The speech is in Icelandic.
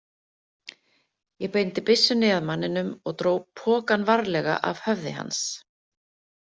Ég beindi byssunni að manninum og dró pokann varlega af höfði hans.